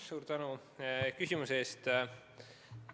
Suur tänu küsimuse eest!